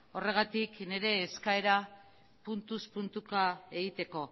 horregatik nire eskaera puntuz puntuka egiteko